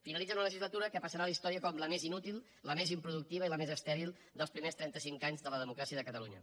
finalitza una legislatura que passarà a la història com la més inútil la més improductiva i la més estèril dels primers trenta cinc anys de la democràcia de catalunya